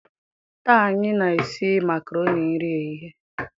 taa anyi na-esi makaroni nri ehihie.